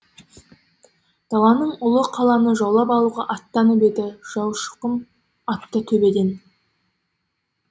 даланың ұлы қаланы жаулап алуға аттанып еді жаушықұм атты төбеден